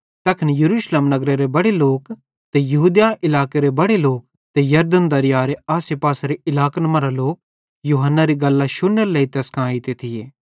तैखन यरूशलेम नगरेरे बड़े लोक ते यहूदिया इलाकेरे बड़े लोक ते यरदन दरीयारे आसेपासेरे इलाकन मरां लोक यूहन्नारी गल्लां शुन्नेरे लेइ तैस कां एइते थिये